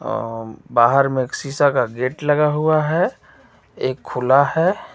ओ बाहर में एक शीशा का गेट लगा हुआ है एक खुला है.